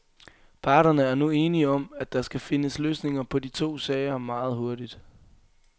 Parterne er nu enige om, at der skal findes løsninger på de to sager meget hurtigt.